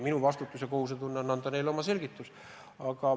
Minu kohus on anda neile oma selgitus.